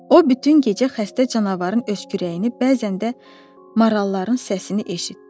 O bütün gecə xəstə canavarın öskürəyini, bəzən də maralların səsini eşitdi.